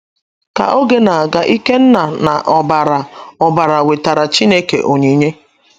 Ka oge na - aga ,Ikenna na Obara Obara wetaara Chineke onyinye.